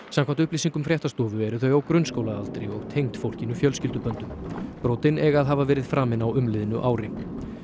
samkvæmt upplýsingum fréttastofu eru þau á grunnskólaaldri og tengd fólkinu fjölskylduböndum brotin eiga að hafa verið framin á umliðnu ári